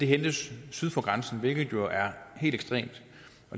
hentes syd for grænsen hvilket jo er helt ekstremt